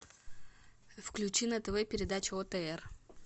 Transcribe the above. включи на тв передачу отр